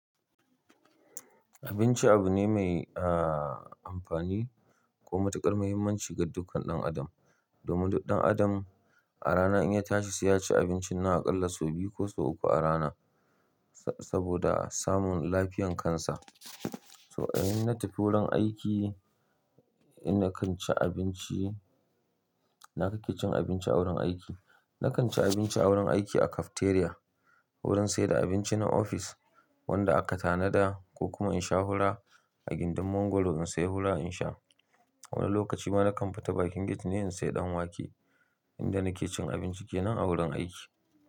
Abinci abu ne mai amfani ko matukar muhimmanci ga dukkan ɗan adam. Domin duk ɗan adam a rana in ya tashi sai ya ci abinci nawa aƙalla sau biyu ko sau uku a rana saboda samun lafiyan kansa. So in na tafi wurin aiki, ina kan ci abinci, ina kake cin abinci a wurin aiki? Na kan ci abinci a wurin aiki a cafeteria, wurin sayar da abinci na ofis wanda aka tanada ko kuma in sha hula a gindin mongoro na sai hura in sha. Wani lokaci ma na kamfita bakin gate ne in sai ɗanwake inda nake cin abinci kenan a wurin aiki.